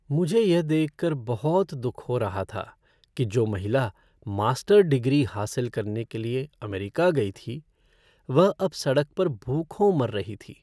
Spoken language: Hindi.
मुझे यह देख कर बहुत दुख हो रहा था कि जो महिला मास्टर डिग्री हासिल करने के लिए अमेरिका गई थी वह अब सड़क पर भूखों मर रही थी।